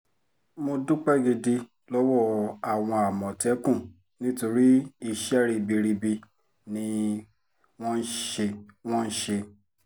mo dúpẹ́ gidi lọ́wọ́ àwọn àmọ̀tẹ́kùn nítorí iṣẹ́ ribiribi ni wọ́n ṣe wọ́n ṣe